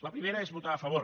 la primera és votar a favor